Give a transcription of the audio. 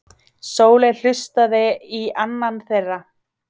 Sóley hlustaði í annan þeirra.